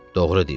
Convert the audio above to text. Doğru deyirsən.